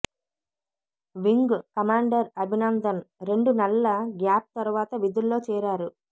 wing commander Abhinandan రెండు నెలల gap తరువాత విధుల్లో చేరారు